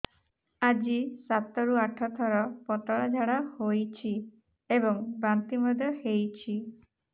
ଆଜି ସାତରୁ ଆଠ ଥର ପତଳା ଝାଡ଼ା ହୋଇଛି ଏବଂ ବାନ୍ତି ମଧ୍ୟ ହେଇଛି